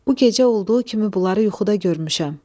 Bu gecə olduğu kimi bunları yuxuda görmüşəm.